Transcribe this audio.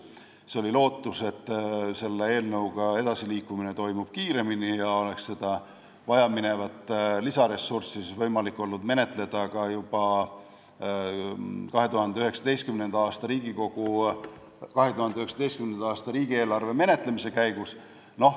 Siis oli lootus, et selle eelnõuga edasiliikumine toimub kiiremini ja seda vajaminevat lisaressurssi oleks olnud võimalik menetleda ka juba 2019. aasta riigieelarve menetlemise käigus.